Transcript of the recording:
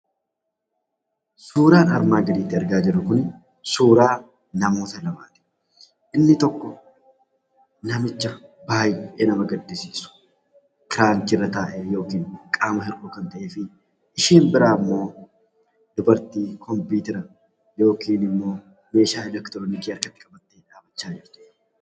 Suuraan armaan gadiirratti arginu kun suuraa namoota lamaati. Inni tokko namicha baay'ee nama gaddisiisu, kiraanchiirra taa'ee yookaan qaama hir'uu kan ta’ee fi isheen biraa immoo dubartii komppiitara yookaan immoo meeshaa eleektirooniksii harkatti baachaa jirtuudha.